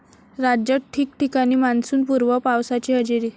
राज्यात ठिकठिकाणी मान्सूनपूर्व पावसाची हजेरी